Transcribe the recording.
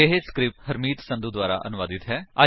ਇਹ ਸਕਰਿਪਟ ਹਰਮੀਤ ਸੰਧੂ ਦੁਆਰਾ ਅਨੁਵਾਦਿਤ ਹੈ